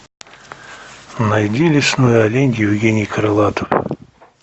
найди лесной олень евгений крылатов